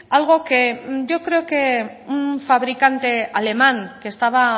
algo que yo creo que un fabricante alemán que estaba